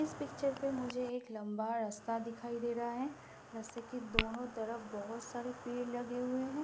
इस पिक्चर पे मुझे एक लंबा रस्ता दिखाई दे रहा है रस्ते के दोनों तरफ बहोत सारे पेड़ लगे हुए हैं।